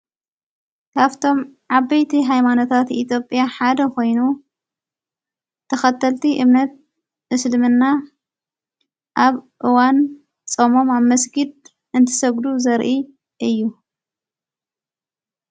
ካፍቶም ዓበይቲ ኃይማኖታት ኢቲጴያ ሓደ ኾይኑ ተኸተልቲ እምነት ምስድምና ኣብ እዋን ጾሞም ኣብ መስጊድ እንትሰግዱ ዘርኢ እዩ።